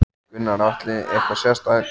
Gunnar Atli: Eitthvað sérstakt?